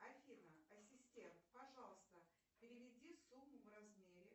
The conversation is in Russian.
афина ассистент пожалуйста переведи сумму в размере